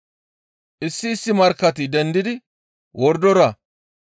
Issi issi markkati dendidi wordora,